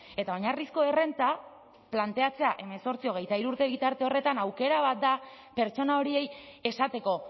eta oinarrizko errenta planteatzea hemezortzi hogeita hiru urte bitarte horretan aukera bat da pertsona horiei esateko